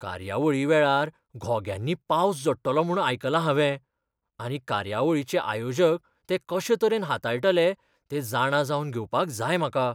कार्यावळी वेळार घोग्यांनी पावस झडटलो म्हूण आयकलां हांवें आनी कार्यवळीचे आयोजक तें कशे तरेन हाताळटले तें जाणा जावन घेवपाक जाय म्हाका.